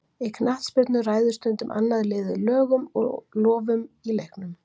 í knattspyrnu ræður stundum annað liðið lögum og lofum í leiknum